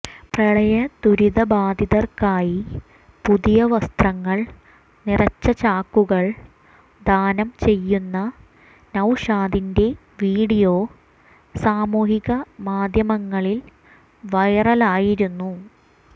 പ്രളയദുരിതബാധിതർക്കായി പുതിയവസ്ത്രങ്ങൾ നിറച്ച ചാക്കുകൾ ദാനംചെയ്യുന്ന നൌഷാദിന്റെ വീഡിയോ സാമൂഹികമാധ്യമങ്ങളിൽ വൈറലായിരുന്നു